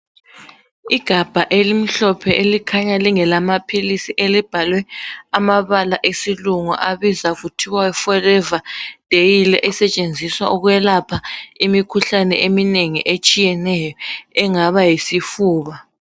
Igabha elimhlophe likhanya lingelamaphilisi elibhalwe amabala esilungu elibizwa kuthiwa forever daily esetshenziswa ukwelapha imikhuhlane eminengi etshiyeneyo engaba yisifuba.